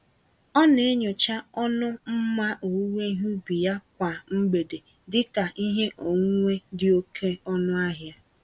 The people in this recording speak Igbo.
Ọ na-enyocha ọnụ mma owuwe ihe ubi ya kwa mgbede dị ka ihe onwunwe dị oke ọnụ ahịa.